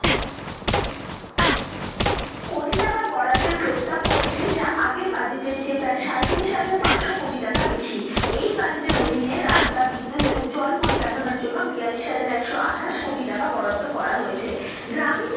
কোটি টাকা বরাদ্দের প্রস্তাব করেছেন যা আগের budget এর চেয়ে প্রায় সাঁইত্রিশ হাজার পাঁচশো কোটি টাকা বেশি, এই budget এর অধীনে রাস্তা, বিদ্যুত এবং জল পরিকাঠামোর জন্য বিয়াল্লিশ হাজার একশো আঠাশ কোটি টাকা বরাদ্দ করা হয়েছে। গ্রামীণ,